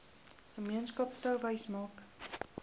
gemeenskap touwys maak